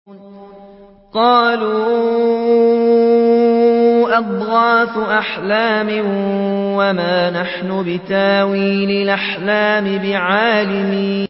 قَالُوا أَضْغَاثُ أَحْلَامٍ ۖ وَمَا نَحْنُ بِتَأْوِيلِ الْأَحْلَامِ بِعَالِمِينَ